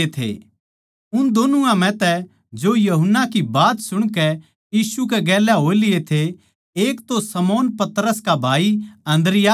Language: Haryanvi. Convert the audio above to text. उन दोनुआ म्ह तै जो यूहन्ना की बात सुणकै यीशु कै गेल्या हो लिए थे एक तो शमौन पतरस का भाई अन्द्रियास था